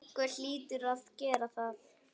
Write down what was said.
Einhver hlýtur að gera það.